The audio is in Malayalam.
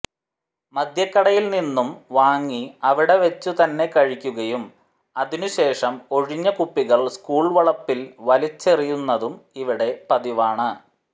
മദ്യക്കടയിൽ നിന്നും വാങ്ങി അവിടെ വെച്ചു തന്നെ കഴിക്കുകയും അതിനുശേഷം ഒഴിഞ്ഞ കുപ്പികൾ സ്കൂൾ വളപ്പിൽ വലിച്ചെറിയുന്നതും ഇവിടെ പതിവാണ്